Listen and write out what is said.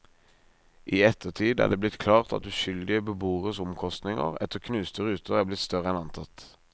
I ettertid er det blitt klart at uskyldige beboeres omkostninger etter knuste ruter er blitt større enn antatt.